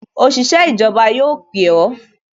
Òṣìṣẹ́ ìjọba yóò pè o